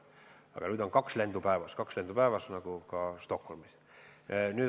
Aga nüüd on kaks lendu päevas, kaks lendu päevas, nagu ka Stockholmi.